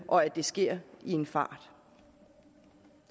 og at det sker i en fart